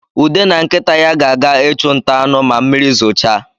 Ude na nkịta ya ga-aga ịchụ nta anụ ma mmiri zochaa